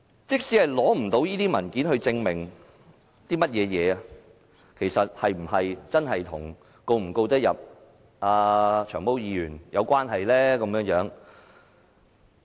即使無法取得文件證明，是否真的與能夠成功控告"長毛"議員有關係？